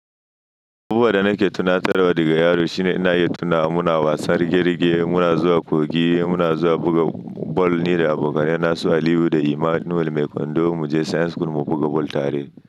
Abubuwa da nake tunatarawa daga yaro shine ina yi tuna muna wasan rigar-rige, muna zuwa kogi, muna zuwa buga ball ni da abokanai na su Aliyu da Emmanuel mai kwando muje science school mu buga ball tare.